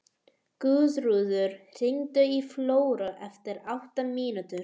Guðröður, hringdu í Flóru eftir átta mínútur.